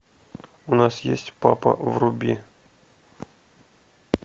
у нас есть папа вруби